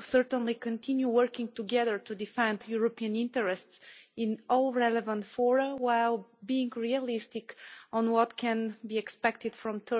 certainly continue working together to defend European interests in all relevant fora, while being realistic on what can be expected from third countries.